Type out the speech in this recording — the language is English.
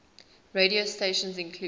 radio stations include